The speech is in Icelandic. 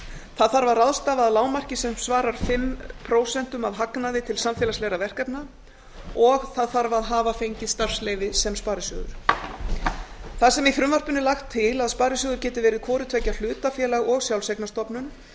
það þarf að ráðstafa að lágmarki sem svarar fimm prósent af hagnaði til samfélagslegra verkefna og það þarf fengið starfsleyfi sem sparisjóður þar sem í frumvarpinu er lagt til að sparisjóður geti verið hvort tveggja hlutafélag og sjálfseignarstofnun